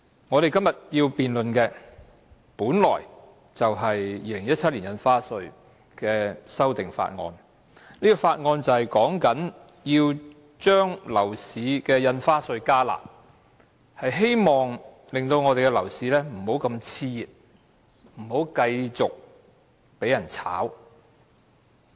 我們今天本來要辯論《2017年印花稅條例草案》，而《條例草案》的目的是要把印花稅"加辣"，希望我們的樓市不會更形熾熱，炒風不會持續。